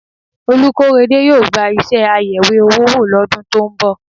Olúkóredé yóò gba iṣẹ́ ayẹ̀wé owó wò lọ́dún tó ń bọ̀